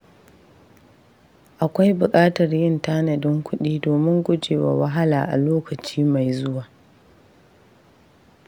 Akwai buƙatar yin tanadin kuɗi domin guje wa wahala a lokaci mai zuwa.